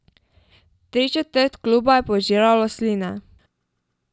Tričetrt kluba je požiralo sline.